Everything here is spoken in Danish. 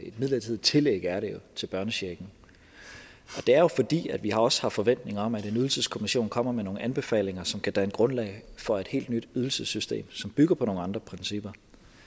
et midlertidigt tillæg til børnechecken det er jo fordi vi også har forventninger om at en ydelseskommission kommer med nogle anbefalinger som kan danne grundlag for et helt nyt ydelsessystem som bygger på nogle andre principper